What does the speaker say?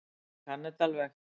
Hann kann þetta alveg.